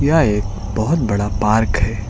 यह एक बहोत बड़ा पार्क है।